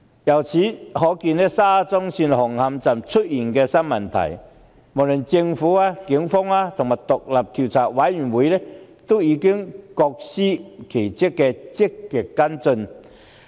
由此可見，沙中線紅磡站出現的新問題，無論政府、警方及獨立調查委員會均已各司其職，積極跟進。